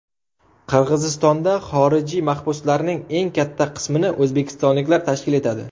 Qirg‘izistonda xorijiy mahbuslarning eng katta qismini o‘zbekistonliklar tashkil etadi.